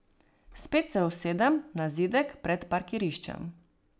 Spet se usedem na zidek pred parkiriščem.